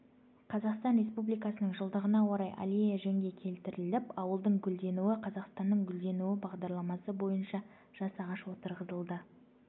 қазақстан республикасының жылдығына орай аллея жөнге келтіріліп ауылдың гүлденуі-қазақстанның гүлденуі бағдарламасы бойынша жас ағаш отырғызылды